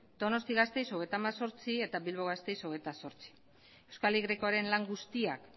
donostia gasteiz treinta y ocho eta bilbo gasteiz veintiocho euskal y aren lan guztiak